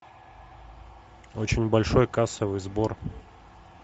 очень большой кассовый сбор